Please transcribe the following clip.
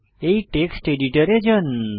এই টেক্সট এডিটতে যান